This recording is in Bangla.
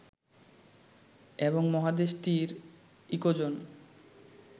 এবং মহাদেশটির ইকোজোন